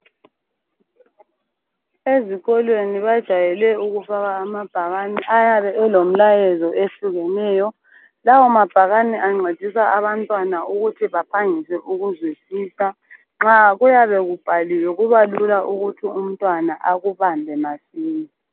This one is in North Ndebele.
ezikolweni bajayele ukufaka amabhakane ayabe elomlayezo ehlukeneyo lawa mabhakane ancedisa abantwana ukuthi baphangise ukuzwisisa nxa kuyabe kubhaliwe kuba lula ukuthi umntwana akubambe masinya